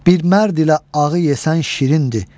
Bir mərd ilə ağı yesən şirindir.